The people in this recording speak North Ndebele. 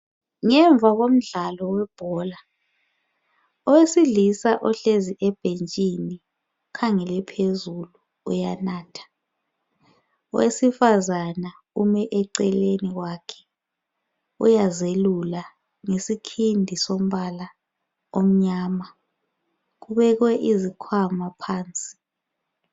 Ngemva komdlalo webhola owesilisa ohlezi ebhentshini ukhangele phezulu uyanatha, owesifazana ume eceleni kwakhe uyazelula ngesikhindi sombala omnyama kubekwe izikhwama phansi.